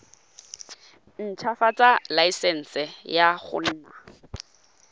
ntshwafatsa laesense ya go nna